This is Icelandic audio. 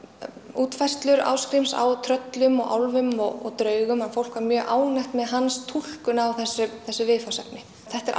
útfærslur Ásgríms á tröllum og álfum og draugum fólk var mjög ánægt með hans túlkun á þessu þessu viðfangsefni þetta er